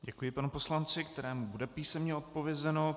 Děkuji panu poslanci, kterému bude písemně odpovězeno.